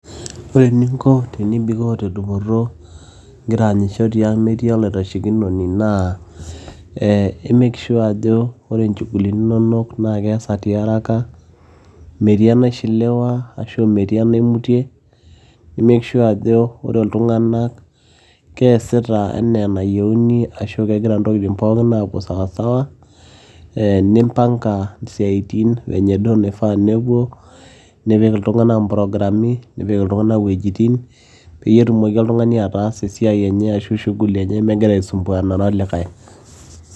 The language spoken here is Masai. ore eninko tenibikoo tedupoto ingira aanyisho tiang metii olaitashekinoni naa eh ,i make sure ajo ore inchugulini inonok naa keesa tiaraka metii enaishiliwa ashu metii enaimutie nimake sure ajo ore iltung'anak keesita enaa enayieuni ashu kegira intokitin pookin aapuo sawasawa eh nimpanga isiaitin venye duo naifaa nepuo nipik iltung'anak improgrami nipik iltung'anak iwuejitin peyie etumoki oltung'ani ataasa esiai enye ashu shughuli enye megira aisumbuanare olikae.